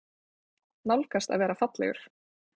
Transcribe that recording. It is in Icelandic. Nálgast að vera fallegur.